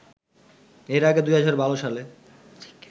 এর আগে ২০১২ সালে